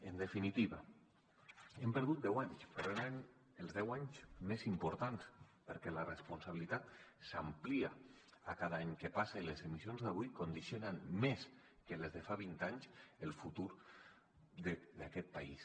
en definitiva hem perdut deu anys verdaderament els deu anys més importants perquè la responsabilitat s’amplia cada any que passa i les emissions d’avui condicionen més que les de fa vint anys el futur d’aquest país